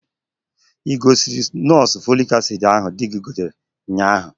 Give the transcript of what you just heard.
Ị gọsila nọọsụ folic acid ahụ di gi zụtara ụnyaahụ?